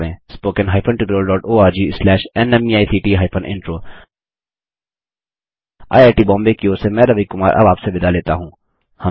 spoken hyphen tutorial dot ORG slash NMEICT hyphen intro IIT Bombay की ओर से मैं रवि कुमार अब आपसे विदा लेता हूँ